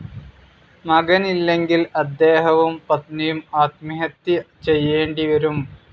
മകനില്ലെങ്കിൽ അദ്ദേഹവും പത്‌നിയും ആത്മഹത്യ ചെയ്യേണ്ടിവരും.